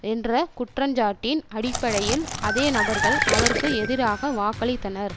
என்ற குற்றச்சாட்டின் அடிப்படையில் அதே நபர்கள் அவருக்கு எதிராக வாக்களித்தனர்